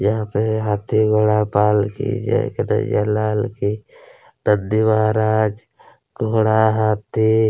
यहाँ पे हाथी घोड़ा पाल की जय कनईया लाल की नंदी महाराज घोड़ा हाथी--